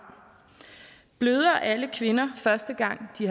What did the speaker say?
bløder alle kvinder første gang de